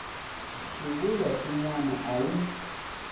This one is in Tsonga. swivulwa swin wana a wu